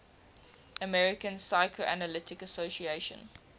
american psychoanalytic association